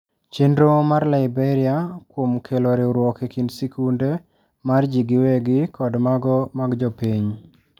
Chenro mar Liberia kuom kelo riwruok ekind sikunde mar ji giwegi kod mago mag jopiny.